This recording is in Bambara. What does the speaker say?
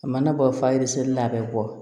A mana bɔ fa yiri sirilen la a bɛ bɔ